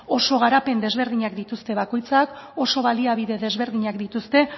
oso garapen desberdinak dituzte bakoitzak oso baliabide desberdinak dituzte